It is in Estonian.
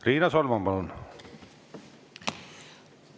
Riina Solman, palun!